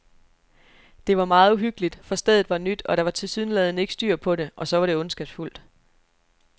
Det var meget uhyggeligt, for stedet var nyt, og der var tilsyneladende ikke styr på det, og så var det ondskabsfuldt.